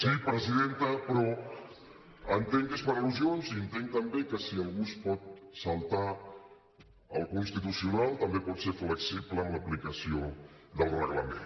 sí presidenta però entenc que és per al·lusions i entenc també que si algú es pot saltar el constitucional també pot ser flexible amb l’aplicació del reglament